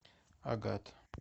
агат